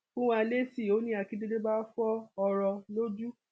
fún wa lésì o ní akíndélé bá fọ ọrọ lójú